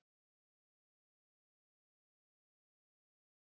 Ýmis vandamál geta komið upp við sótthreinsun tannlæknastóla.